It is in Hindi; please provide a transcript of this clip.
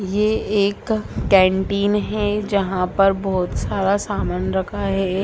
ये एक कैन्टीन है जहाँ पर बहुत सारा सामान रखा है।